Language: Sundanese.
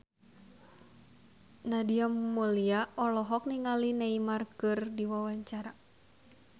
Nadia Mulya olohok ningali Neymar keur diwawancara